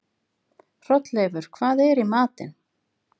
Hrolleifur, hvað er í matinn?